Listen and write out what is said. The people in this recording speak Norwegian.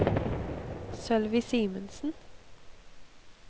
Sølvi Simensen